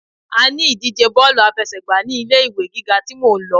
A ní ìdíje Bọ́ọ̀lù àfẹsẹ̀gbá ní ilé ìwé gíga tí mò ń lọ.